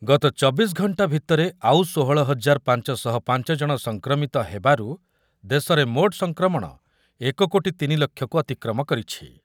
ଗତ ଚବିଶି ଘଣ୍ଟା ଭିତରେ ଆଉ ଷୋହଳ ହଜାର ପାଞ୍ଚ ଶହ ପାଞ୍ଚ ଜଣ ସଂକ୍ରମିତ ହେବାରୁ ଦେଶରେ ମୋଟ୍ ସଂକ୍ରମଣ ଏକ କୋଟି ତିନି ଲକ୍ଷକୁ ଅତିକ୍ରମ କରିଛି ।